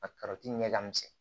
A ɲɛ ka misɛn